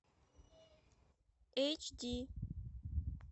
эйч ди